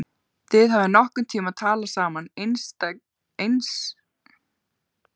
Hafið þið nokkurn tíma talað saman einslega? spurði hann.